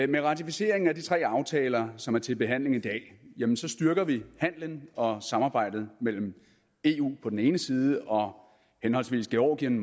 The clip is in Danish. med ratificeringen af de tre aftaler som er til behandling i dag styrker vi handelen og samarbejdet mellem eu på den ene side og henholdsvis georgien